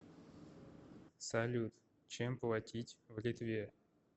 салют чем платить в литве